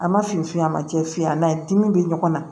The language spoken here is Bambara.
A ma fin f'i ye a ma cɛ f'i ye dimi bɛ ɲɔgɔn na